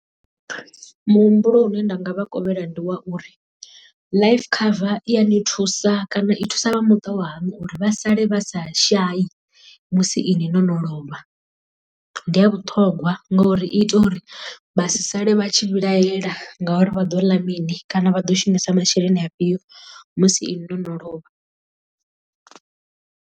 Muhumbulo u ne nda nga vha kovhela ndi wa uri life cover i ya ni thusa kana i thusa vha muṱa wa hanu uri vha sale vha sa shavhi musi iṅwi no no lovha. Ndi ya vhuṱhongwa ngori i ita uri vhasi sale vha tshi vhilahela ngauri vha ḓo ḽa mini kana vha ḓo shumisa masheleni afhio musi iṅwi no no lovha.